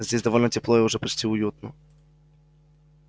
здесь довольно тепло и уже почти уютно